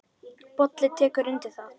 Bolli tekur undir það.